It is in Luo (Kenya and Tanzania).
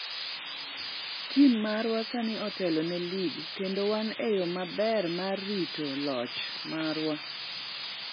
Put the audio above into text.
"""Tim marwa sani otelo ne lig kendo wan e yo maber mar rito loch marwa."